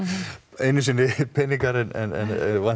einu sinni peningar en